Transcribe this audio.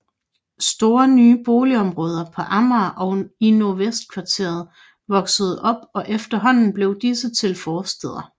Store nye boligområder på Amager og i Nordvestkvarteret voksede op og efterhånden blev disse til forstæder